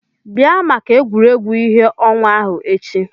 Bịa maka egwuregwu ìhè ọnwa ahụ echi!